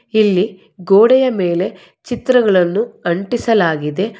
ಇಲ್ಲಿ ಗೋಡೆಯ ಮೇಲೆ ಚಿತ್ರಗಳನ್ನು ಅಂಟಿಸಲಾಗಿದೆ.